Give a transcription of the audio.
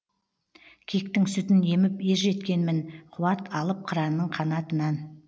киіктің сүтін еміп ержеткенмін қуат алып қыранның қанатынан